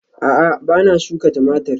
A'a ba na shuka Tumatir